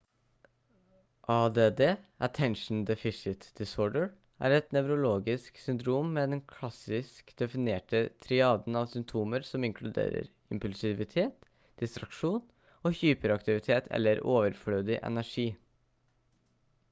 add attention deficit disorder «er et nevrologisk syndrom med den klassisk definerte triaden av symptomer som inkluderer impulsivitet distraksjon og hyperaktivitet eller overflødig energi»